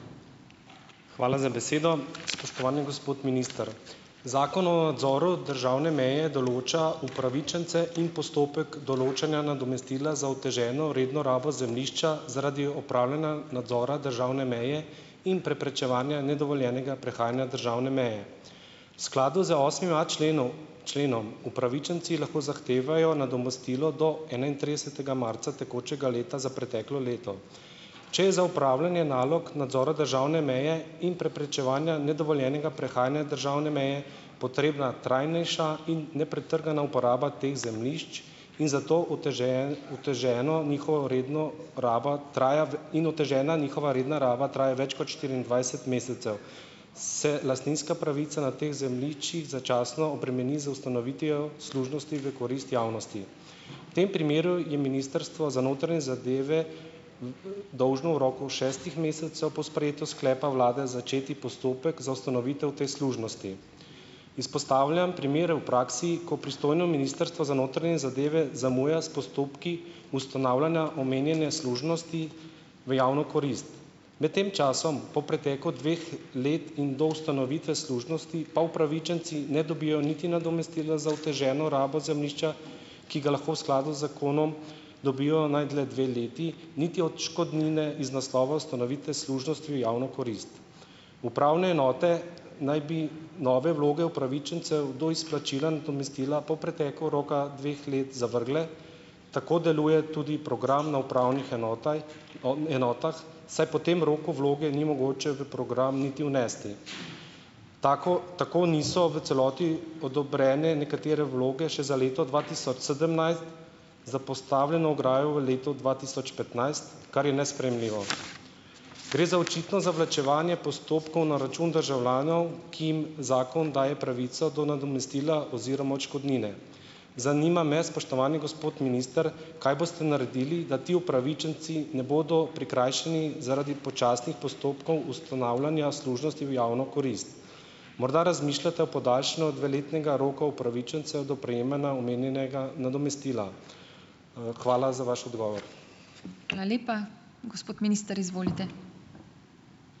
Hvala za besedo. Spoštovani gospod minister! Zakon o nadzoru državne meje določa upravičence in postopek določanja nadomestila za oteženo redno rabo zemljišča zaradi upravljanja nadzora državne meje in preprečevanje nedovoljenega prehajanja državne meje. V skladu z osmim a členom upravičenci lahko zahtevajo nadomestilo do enaintridesetega marca tekočega leta za preteklo leto. Če je za opravljanje nalog nadzora državne meje in preprečevanja nedovoljenega prehajanja državne meje potrebna trajnejša in nepretrgana uporaba teh zemljišč in zato oteženo njihovo redno raba traja in otežena njihova redna raba, traja več kot štiriindvajset mesecev, se lastninska pravica na teh zemljiščih začasno obremeni z ustanovitvijo služnosti v korist javnosti. V tem primeru je Ministrstvo za notranje zadeve dolžno v roku šestih mesecev po sprejetju sklepa vlade, začeti postopek za ustanovitev te služnosti. Izpostavljam primere v praksi, ko pristojno Ministrstvo za notranje zadeve zamuja s postopki ustanavljanja omenjene služnosti v javno korist. Med tem časom, po preteku dveh let in do ustanovitve služnosti, pa upravičenci ne dobijo niti nadomestila za oteženo rabo zemljišča, ki ga lahko v skladu z zakonom dobijo najdlje dve leti, niti odškodnine iz naslova ustanovitve služnosti v javno korist. Upravne enote naj bi nove vloge upravičencev do izplačila nadomestila po preteku roka dveh let zavrgle. Tako deluje tudi program na upravnih enotaj, enotah, saj po tem roku vloge ni mogoče v program niti vnesti. Tako tako niso v celoti odobrene nekatere vloge še za leto dva tisoč sedemnajst, za postavljeno v raju v letu dva tisoč petnajst, kar je nesprejemljivo. Gre za očitno zavlačevanje postopkov na račun državljanov, ki jim zakon daje pravico do nadomestila oziroma odškodnine. Zanima me, spoštovani gospod minister, kaj boste naredili, da ti upravičenci ne bodo prikrajšani zaradi počasnih postopkov ustanavljanja služnosti v javno korist. Morda razmišljate o podaljšanju dvoletnega roka upravičencev do prejema na omenjenega nadomestila? Hvala za vaš odgovor.